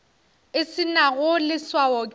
e se nago leswao ke